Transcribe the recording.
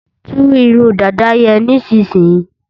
Tú irun dàda yẹn nísinsìnyí!